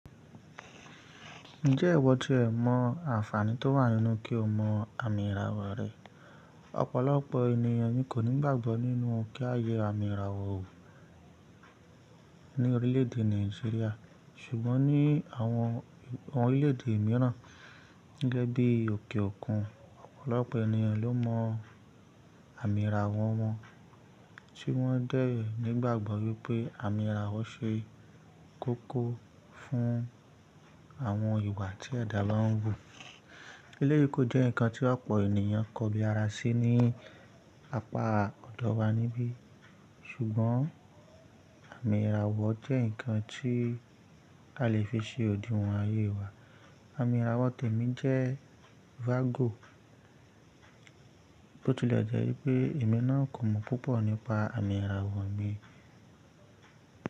Ǹjẹ́ ìwọ jẹ ìmọ̀ àǹfààní tó wà nínú kí o mọ àmì ìràwọ̀ rẹ. Ọ̀pọ̀lọpọ̀ ènìyàn ni kò ní gbàgbọ́ nínú kí a yẹ àmì ìràwọ̀ ò, ní orílẹ̀ èdè Nàìjíríà. Ṣùgbọ́n ní àwọn orílẹ̀ èdè mìíràn gẹ́gẹ́ bí òkè òkun, ọ̀pọ̀lọpọ̀ ènìyàn ló mọ àmì ìràwọ̀ wọn, tí wọ́n dẹ̀ nìgbàgbọ́ wípé àmì ìràwọ̀ ṣe kókó fún àwọn ìwà tí ẹ̀dà lọ́ ń wò. Eléyìí kó jẹ́ nǹkan tí ọ̀pọ̀ ènìyàn kò bi ara sí, ní apá ọ̀dọ́ wa níbí. Ṣùgbọ́n àmì ìràwọ̀ jẹ́ ǹkan tí a lè fi ṣe òdiwọ̀n ayé wa. Àmì ìràwọ̀ tèmi jẹ́ Vago, bó tilẹ̀ jẹ́ wípé èmi náà kò mọ̀ púpọ̀ nípa àmì ìràwọ̀ mi.